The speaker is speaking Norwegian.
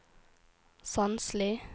Sandsli